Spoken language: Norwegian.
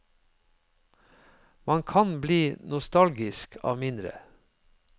Man kan bli nostalgisk av mindre.